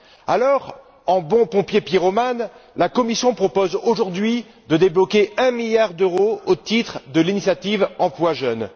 Alors, en bon pompier pyromane, la Commission propose aujourd'hui de débloquer un milliard d'euros au titre de l'initiative pour l'emploi des jeunes.